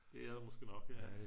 det er der måske nok ja